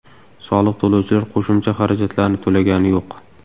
Soliq to‘lovchilar qo‘shimcha xarajatlarni to‘lagani yo‘q.